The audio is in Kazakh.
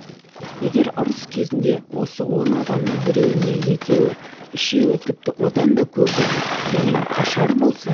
егер ұрыс кезінде осы он адамның біреуі не екеуі үшеуі тіпті одан көбі кейін қашар болса